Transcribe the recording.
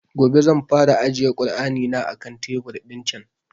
Gobe zan fara ajiye kur'ani na a kan tebur ɗin can